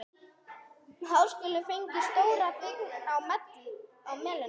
Háskólinn fengi stóra byggingarlóð á Melunum.